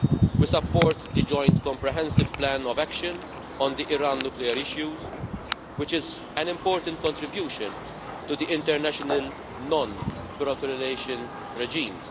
We support the joint comprehensive plan of action on the Iran nuclear issues, which is an important contribution to the international non proliferation regime.